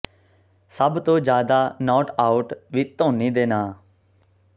ਸਭ ਤੋਂ ਜ਼ਿਆਦਾ ਨਾਟ ਆਊਟ ਵੀ ਧੋਨੀ ਦੇ ਨਾਂ